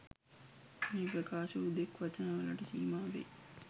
මේ ප්‍රකාශ හුදෙක් වචන වලට සීමා වෙයි